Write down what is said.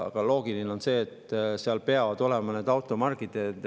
Aga loogiline on see, et seal peavad olema automargid.